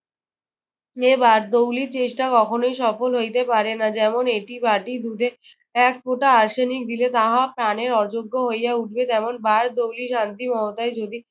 এ বারদৌলির চেষ্টা কখনোই সফল হইতে পারে না। যেমন, একটি বাটি দুধে এক ফোটা আর্সেনিক দিলে তাহা পানের অযোগ্য হইয়া উঠবে। তেমন বারদৌরি শান্তিমহতায় যদি